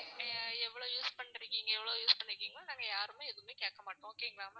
நீங்க எவ்ளோ use பண்ணிட்டுருக்கீங்க எவ்ளோ use பண்ணிருக்கீங்களோ நாங்க யாருமே எதுவுமே கேக்க மாட்டோம் okay ங்களா.